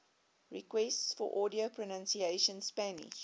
requests for audio pronunciation spanish